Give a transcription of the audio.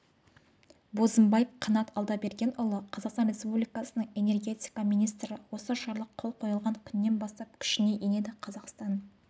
бозымбаев қанат алдабергенұлы қазақстан республикасының энергетика министрі осы жарлық қол қойылған күннен бастап күшіне енеді қазақстан